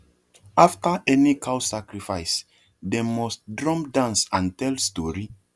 after any cow sacrifice dem must drum dance and tell story